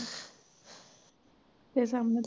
ਫੇਰ ਸਾਹਮਣਿਓਂ